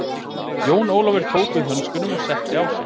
Jón Ólafur tók við hönskunum og setti á sig.